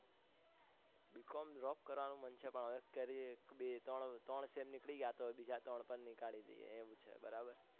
b. com drop કરવાનું મન છે પણ હવે ત્રણ sem નીકળી ગયા બીજા ત્રણ પણ નીકળી દયે